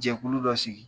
Jɛkulu dɔ sigi